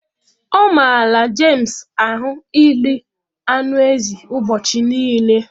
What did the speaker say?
Ọ mara James ahụ iri anụ ezi ubochi nile